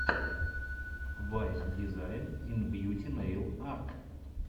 вайн дизайн ин бьюти нэйл арт